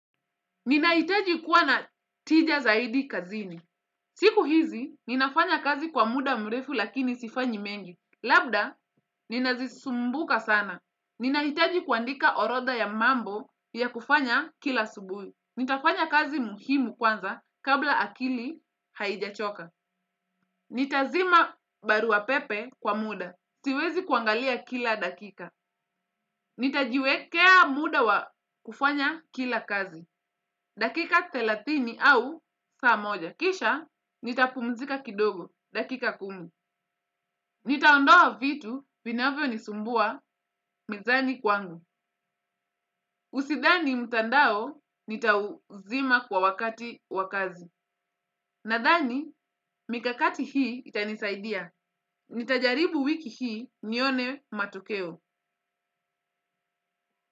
Ninahitaji kuwa na tija zaidi kazini. Siku hizi, ninafanya kazi kwa muda mrefu lakini sifanyi mengi. Labda, ninazisumbuka sana. Ninahitaji kuandika orotha ya mambo ya kufanya kila asubuhi. Nitafanya kazi muhimu kwanza kabla akili haijachoka. Nitazima barua pepe kwa muda. Siwezi kuangalia kila dakika. Nitajiwekea muda wa kufanya kila kazi. Dakika thelathini au saa moja. Kisha nitapumzika kidogo. Dakika kumi. Nitaondoa vitu vinavyo nisumbua mezani kwangu. Usithani mtandao nitauzima kwa wakati wakazi. Nathani mikakati hii itanisaidia. Nitajaribu wiki hii nione matokeo.